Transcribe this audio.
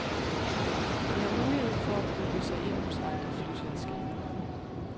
De har mulighed for at booke sig ind hos andre flyselskaber.